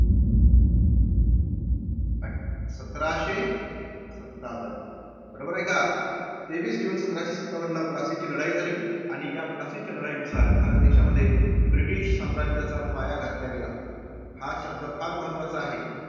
सतराशे सत्तावन. बरोबर आहे का? तेवीस जून सतराशे सत्तावनला प्लासीची लढाईची झाली, आणि या प्लासीच्या लढाईनुसार भारत देशामध्ये ब्रिटिश साम्राज्याचा पाया घातला गेला. हा शब्द फार महत्त्वाचा आहे.